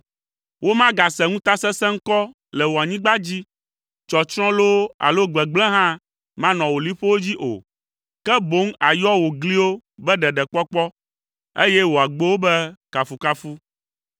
Womagase ŋutasesẽ ŋkɔ le wò anyigba dzi, tsɔtsrɔ̃ loo alo gbegblẽ hã manɔ wò liƒowo dzi o. Ke boŋ àyɔ wò gliwo be Ɖeɖekpɔkpɔ, eye wò agbowo be Kafukafu.